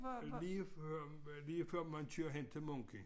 Øh lige før lige før man kører hen til Munken